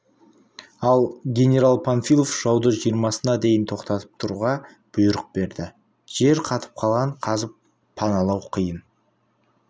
ал генерал панфилов жауды жиырмасына дейін тоқтатып тұруға бұйрық берді жер қатып қалған қазып паналау қиын